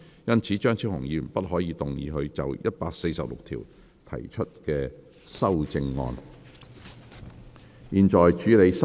因此張超雄議員不可動議他就第146條提出的修正案。